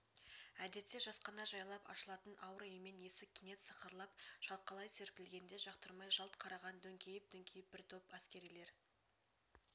әдетте жасқана жайлап ашылатын ауыр емен есік кенет сықырлап шалқалай серпілгенде жақтырмай жалт қараған дөңкиіп-дөңкиіп бір топ әскерилер